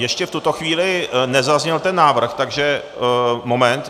Ještě v tuto chvíli nezazněl ten návrh, takže moment...